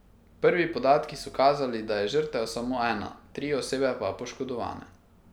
Prvi podatki so kazali, da je žrtev samo ena, tri osebe pa poškodovane.